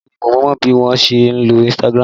Bẹ́ẹ̀ni mo mọ bí wọ́n ṣe ń lo Instagram